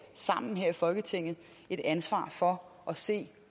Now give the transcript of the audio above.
sammen her i folketinget et ansvar for at se